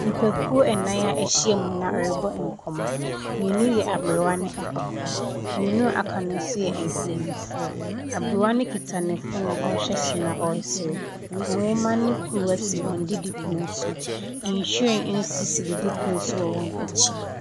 Nnipakuo nan ahyia mu rebɔ nkɔmmɔ. Mmienu yɛ aberewa ne akwakora. Mmienu aka no nso yɛ mpanimfoɔ. Abrewa no kita ne phone so a ɔreserew. Nwoma ne kuruwa si wɔn didipono so. Nhwiren nso si wɔn didipono so wɔ wɔn akyi.